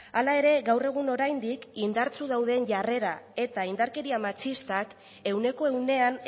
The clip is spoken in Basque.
hala ere gaur egun oraindik indartsu dauden jarrera eta indarkeria matxistak ehuneko ehunean